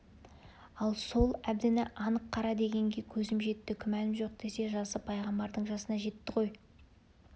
ал сол әбдіні анық қара дегенге көзім жетті күмәным жоқ десе жасы пайғамбардың жасына жетті ғой